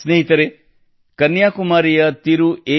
ಸ್ನೇಹಿತರೇ ಕನ್ಯಾಕುಮಾರಿಯ ತಿರು ಎ